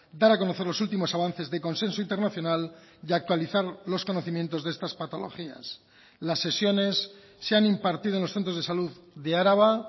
dar a conocer los últimos avances de consenso internacional y actualizar los conocimientos de estas patologías las sesiones se han impartido en los centros de salud de araba